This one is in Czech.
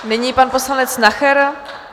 Nyní pan poslanec Nacher.